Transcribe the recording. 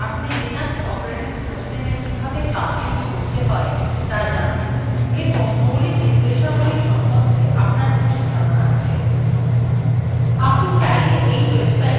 আপনি চাইলে এই websiteএর অন্যান্য tutorialগুলির সাহায্য নিতে পারেন